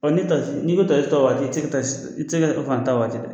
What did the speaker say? ni n'i be ta o waati i te ka i te se ka fan ta waati dɛ